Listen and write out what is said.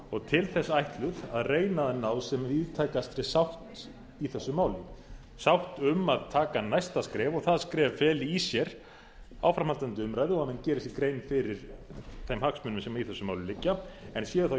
og til þess ætluð að reyna að ná sem víðtækastri sátt í þessu máli sátt um að taka næsta skref og það skref feli í sér áframhaldandi umræðu og að menn geri sér grein fyrir þeim hagsmunum sem í þessu máli en séu þá